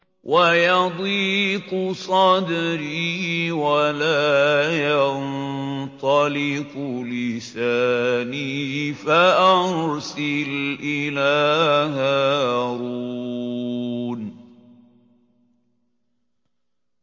وَيَضِيقُ صَدْرِي وَلَا يَنطَلِقُ لِسَانِي فَأَرْسِلْ إِلَىٰ هَارُونَ